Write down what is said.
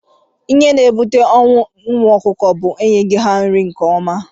Ihe na- ebute ọnwụ ụmụ ọkụkọ bu enyeghi ha nri nke ọma.